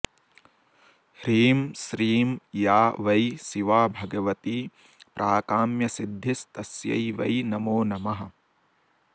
ह्रीं श्रीं या वै शिवा भगवती प्राकाम्यसिद्धिस्तस्यै वै नमो नमः